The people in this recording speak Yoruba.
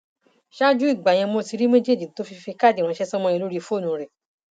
ṣáájú ìgbà yẹn ni mo ti rí méjèèjì tó fi fi káàdì ránṣẹ sọmọ yẹn lórí fóònù rẹ